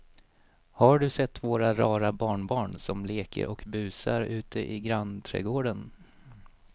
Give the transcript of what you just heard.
Har du sett våra rara barnbarn som leker och busar ute i grannträdgården!